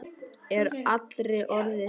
Er allri orðið heitt.